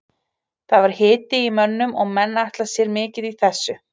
Það var hiti í mönnum og menn ætla sér mikið í þessu.